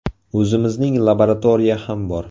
O‘zimizning laboratoriya ham bor.